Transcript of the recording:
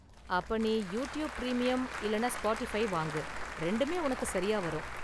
அப்ப நீ YouTube premium இல்லனா ஸ்பாட்டிஃபை வாங்கு, ரெண்டுமே உனக்கு சரியா வரும்.